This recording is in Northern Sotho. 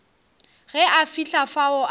ge a fihla fao a